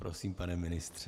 Prosím, pane ministře.